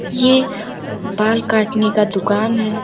यह बाल काटने का दुकान है।